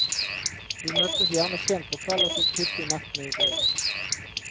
Vi møttes gjerne sent på kveld og tok hyppig nettene i bruk.